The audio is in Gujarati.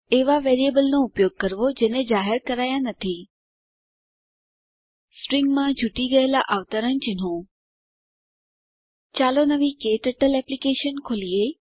એવાં વેરિએબલ નો ઉપયોગ જેને જાહેર કરાયા નથી સ્ટ્રીંગમાં છુટી ગયેલા અવતરણચિહ્નો ચાલો નવી ક્ટર્ટલ એપ્લીકેશન ખોલીએ